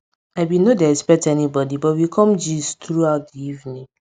i bin nor dey expect anybody but we com gist throughout di evening